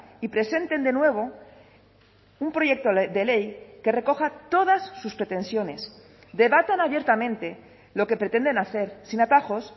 y presenten de nuevo un proyecto de ley que recoja todas sus pretensiones debatan abiertamente lo que pretenden hacer sin atajos